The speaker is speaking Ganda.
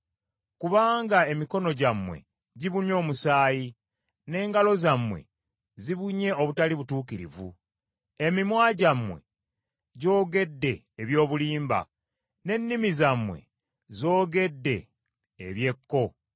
Kubanga emikono gyammwe gibunye omusaayi n’engalo zammwe zibunye obutali butuukirivu, emimwa gyammwe gyogedde eby’obulimba, n’ennimi zammwe z’ogedde eby’ekko.